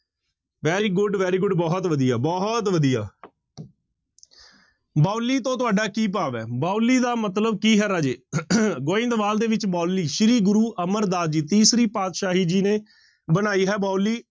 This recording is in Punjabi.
Very good, very good ਬਹੁਤ ਵਧੀਆ ਬਹੁਤ ਵਧੀਆ ਬਾਉਲੀ ਤੋਂ ਤੁਹਾਡਾ ਕੀ ਭਾਵ ਹੈ, ਬਾਉਲੀ ਦਾ ਮਤਲਬ ਕੀ ਹੈ ਰਾਜੇ ਗੋਇਦਵਾਲ ਦੇ ਵਿੱਚ ਬਾਉਲੀ ਸ੍ਰੀ ਗੁਰੂ ਅਮਰਦਾਸ ਜੀ ਤੀਸਰੀ ਪਾਤਿਸ਼ਾਹੀ ਜੀ ਨੇ ਬਣਾਈ ਹੈ ਬਾਉਲੀ,